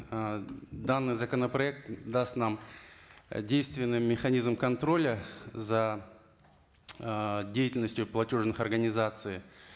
ыыы даныый законопроект даст нам действенный механизм контроля за ыыы деятельностью платежных организаций